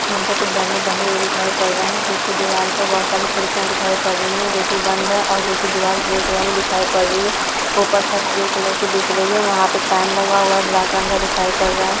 पर कुछ बैनर बने हुए दिखाई पड़ रहे हैं पीछे दीवार पे बहुत सारी खिड़कियां दिखाई पड़ रहीं हैं जो कि बंद है और जो की दीवार ग्रे कलर में दिखाई पड़ रही है ऊपर छत ग्रे कलर की दिख रही है वहाँ पे फैन लगा हुआ है ब्लैक रंग का दिखाई पड़ रहा है।